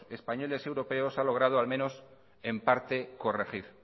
españoles y europeos ha logrado al menos en parte corregir